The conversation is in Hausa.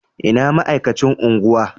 Ina ma'aikacin unguwa?